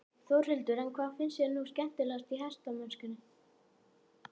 Þórhildur: En hvað finnst þér nú skemmtilegast í hestamennskunni?